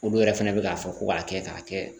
Olu yɛrɛ fɛnɛ bɛ k'a fɔ ko k'a kɛ k'a kɛ